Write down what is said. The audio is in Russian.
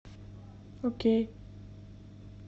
окей